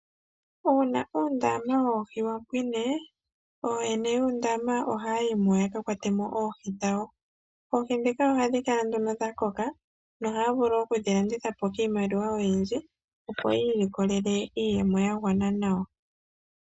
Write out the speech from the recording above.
Uuna uundama woohi wa pwine, oyene yuundama ohaayimo yaka kwatemo oohi dhawo. Oohi dhika ohadhi kala nduno dha koka nohaavulu okudhilandithapo kiimaliwa oyindji opo yiilikolele iiyemo ya gwana nawa.